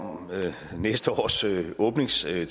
næste års åbningstale